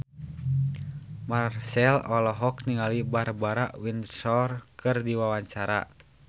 Marchell olohok ningali Barbara Windsor keur diwawancara